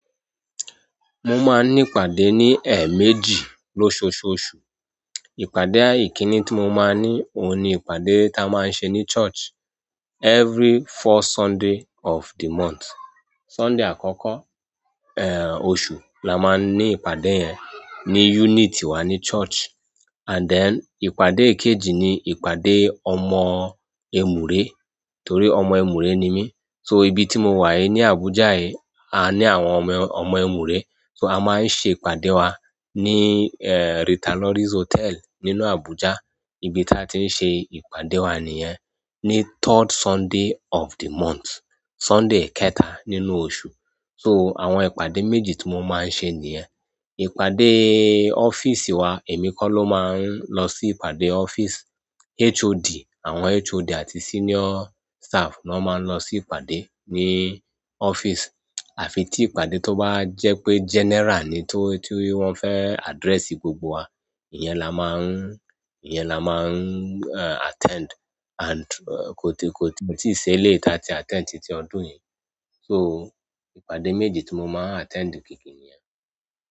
Mo máa ń ní ìpàdé ní ẹ̀ méjì lóṣooṣù. Ìpàdé ìkinì tí mo máa ń ní, òun ni ìpàdé tá a máa ń ṣe ní church every first Sunday of the month. Sunday àkọ́kọ́, ẹ́, oṣù la máa ń ní ìpàdé yẹn ní unit wá ní church. And then ìpàdé ìkejì ni ìpàdé ọmọ Emùré, torí ọmọ Emùré ni mí. So ibi tí mo wà ní Abuja yí, a ní àwọn ọmọ, ọmọ Emùré. So a máa ń ṣe ìpàdé wá ní, ẹ́, Ritualories Hotel nínú Abuja. Ibi táa ti ń ṣe ìpàdé wá nìyẹn. Ní third Sunday of the month, Sunday kẹta nínú oṣù. So àwọn ìpàdé méjì tí mo máa ń ṣe nìyẹn. Ìpàdé ọ́fíísì wá, èmi kọ́ ló máa ń lọ sí ìpàdé ọ́fíísì. HOD, àwọn HOD àti senior staff ni wọ́n máa ń lọ sí ìpàdé ní ọ́fíísì. Àfi tí ìpàdé tó bá jẹ́ pé general ni tó, tó wọ́n fẹ́ address gbogbo wa, ìyẹn la máa ń, ìyẹn la máa ń, ẹ́, attend. And, kòti, kòti, kò tí ì ṣe lé ta ti attend titi ọdún yìí. So ìpàdé méjì tí mo máa ń attend gidi nìyẹn.